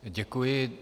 Děkuji.